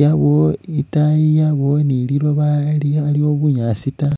yabawo itaayi yabawo ni liloba likhaliwo bunyaasi taa